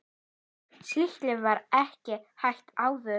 Slíkt var ekki hægt áður.